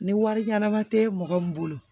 Ni wari ɲanama te mɔgɔ min bolo